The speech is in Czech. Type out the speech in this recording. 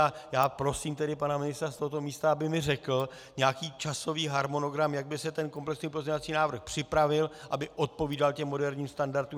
A já prosím tedy pana ministra z tohoto místa, aby mi řekl nějaký časový harmonogram, jak by se ten komplexní pozměňovací návrh připravil, aby odpovídal těm moderním standardům.